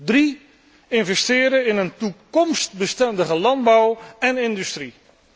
Ten derde, investeren in een toekomstbestendige landbouw en industrie.